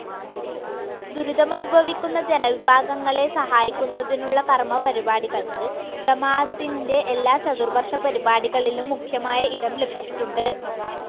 ദുരിതമനുഭവിക്കുന്ന ജനവിഭാഗങ്ങളെ സഹായിക്കുന്നതിനുള്ള കർമപരിപാടികൾക്ക് ജമാഅത്തിന്റെ എല്ലാ ചതുർവർഷ പരിപാടികളിലും മുഖ്യമായ ഇടം ലഭിച്ചിട്ടുണ്ട്.